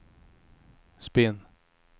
spinn